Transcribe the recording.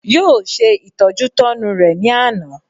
Yóò se ìtọ́jútọ́nu rẹ ní àná